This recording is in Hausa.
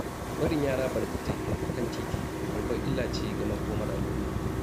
Barin yara barkatai a kan titi babbar illa ce ga makomar al'umma.